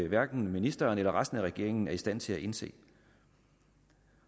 hverken ministeren eller resten af regeringen er i stand til at indse